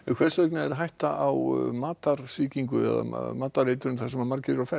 hvers vegna er hætta á matarsýkingum þar sem margir eru á ferð